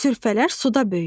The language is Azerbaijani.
Sürfələr suda böyüyür.